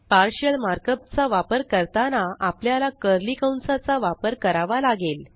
partial markup चा वापर करताना आपल्याला कर्ली कंसाचा वापर करावा लागेल